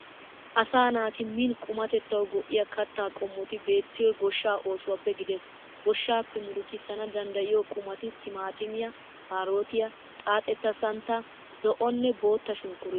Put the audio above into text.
Asaa naati min qummatetawu go"iyaa kaatta qommoti betiyoyi gooshshaa osuwaappe giidees. gooshshappe murutissana daadayo qummaati timaatimiya kaarotiya xaaxeta santta zo"onne bootta shunkkuruteta